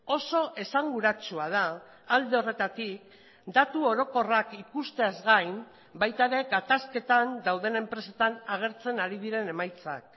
oso esanguratsua da alde horretatik datu orokorrak ikusteaz gain baita ere gatazketan dauden enpresetan agertzen ari diren emaitzak